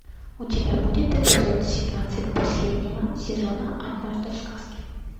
у тебя будет эпизод семнадцать последнего сезона однажды в сказке